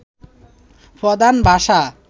প্রধান ভাষা